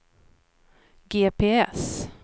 GPS